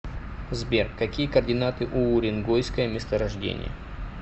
сбер какие координаты у уренгойское месторождение